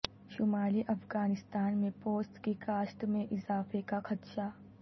شمالی افغانستان میں پوست کی کاشت میں اضافے کا خدشہ